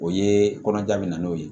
O ye kɔnɔja min na n'o ye